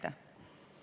See on fakt.